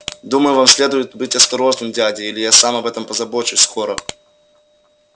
думаю вам следует быть осторожным дядя или я сам об этом позабочусь скоро